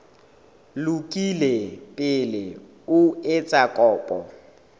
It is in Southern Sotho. lokile pele o etsa kopo